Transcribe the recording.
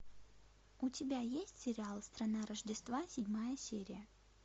у тебя есть сериал страна рождества седьмая серия